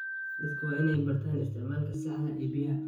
Dadku waa inay bartaan isticmaalka saxda ah ee biyaha.